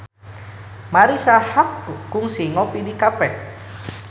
Marisa Haque kungsi ngopi di cafe